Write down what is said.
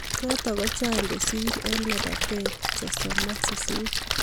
Chotok ko chang kosir eng lapatet sosom ak sisit